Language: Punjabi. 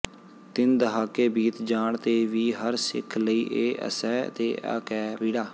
ਤਿੰਨ ਦਹਾਕੇ ਬੀਤ ਜਾਣ ਤੇ ਵੀ ਹਰ ਸਿੱਖ ਲਈ ਇਹ ਅਸਹਿ ਤੇ ਅਕਹਿ ਪੀੜਾ